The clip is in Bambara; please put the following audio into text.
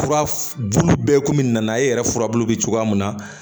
Fura bulu bɛɛ komi nana e yɛrɛ furabulu bɛ cogoya min na